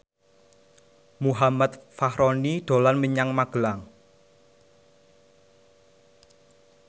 Muhammad Fachroni dolan menyang Magelang